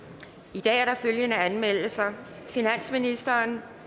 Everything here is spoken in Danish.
i dag er der følgende anmeldelser finansministeren